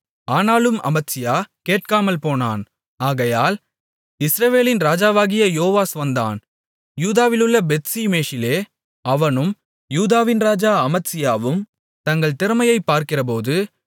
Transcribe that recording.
ஆனாலும் அமத்சியா கேட்காமல்போனான் ஆகையால் இஸ்ரவேலின் ராஜாவாகிய யோவாஸ் வந்தான் யூதாவிலுள்ள பெத்ஷிமேசிலே அவனும் யூதாவின் ராஜா அமத்சியாவும் தங்கள் திறமையைப் பார்க்கிறபோது